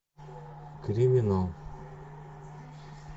криминал